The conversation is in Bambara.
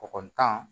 Kɔkɔ tan